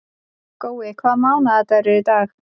Gói, hvaða mánaðardagur er í dag?